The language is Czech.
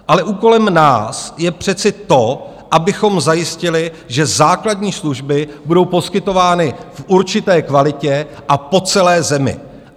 Ale úkolem nás je přece to, abychom zajistili, že základní služby budou poskytovány v určité kvalitě a po celé zemi.